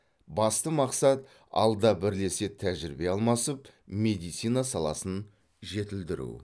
басты мақсат алда бірлесе тәжірибе алмасып медицина саласын жетілдіру